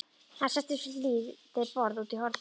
Hann settist við lítið borð úti í horni.